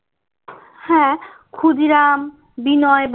হ্যাঁ ক্ষুদিরাম বিনয়